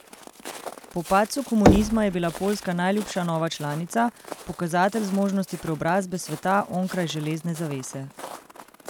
Po padcu komunizma je bila Poljska najljubša nova članica, pokazatelj zmožnosti preobrazbe sveta onkraj železne zavese.